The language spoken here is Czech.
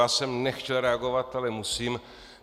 Já jsem nechtěl reagovat, ale musím.